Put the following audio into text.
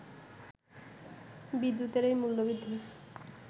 বিদ্যুতের এই মূল্যবৃদ্ধি